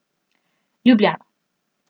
Ljubljana.